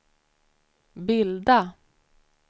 bilda